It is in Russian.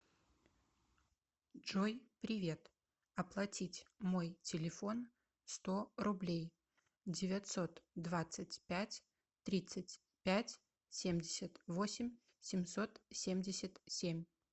джой привет оплатить мой телефон сто рублей девятьсот двадцать пять тридцать пять семьдесят восемь семьсот семьдесят семь